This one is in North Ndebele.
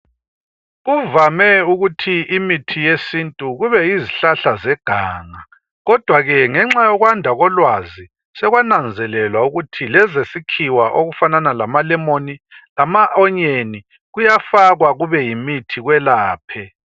Kuvame ukuthi imithi yesintu kube yizihlahla zeganga, kodwa ke ngenxa yokwanda kolwazi sekwananzelelwa ukuthi lezesikhiwa okufanana lamalemoni lama onyeni kuyafakwa kube yimithi kwelaphe.